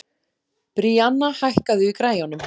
Bríanna, hækkaðu í græjunum.